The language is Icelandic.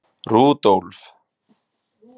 Rúdólf